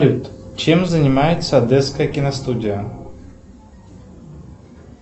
чем занимается одесская киностудия